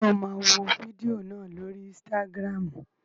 Ṣé o máa wo fídíò náà lórii ísítágírámù?